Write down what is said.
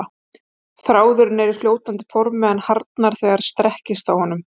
Þráðurinn er í fljótandi formi en harðnar þegar strekkist á honum.